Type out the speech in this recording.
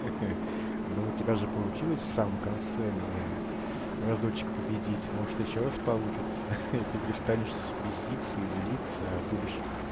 ага но у тебя же получилось в самом конце меня разочек победить может ещё раз получится и ты перестанешь беситься и злиться а будешь